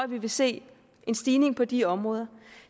vi vil se en stigning på de områder